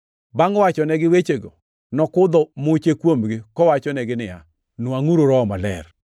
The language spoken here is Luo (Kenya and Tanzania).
Bangʼ wachonegi wechego, nokudho muche kuomgi, kowachonegi niya, “Nwangʼuru Roho Maler.